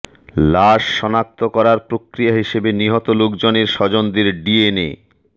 লাশ শনাক্ত করার প্রক্রিয়া হিসেবে নিহত লোকজনের স্বজনদের ডিএনএ